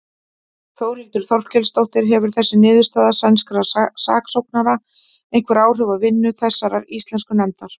Þórhildur Þorkelsdóttir: Hefur þessi niðurstaða sænskra saksóknara einhver áhrif á vinnu þessarar íslensku nefndar?